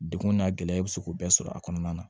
Degun n'a gɛlɛya i bɛ se k'o bɛɛ sɔrɔ a kɔnɔna na